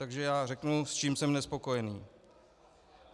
Takže já řeknu, s čím jsem nespokojený.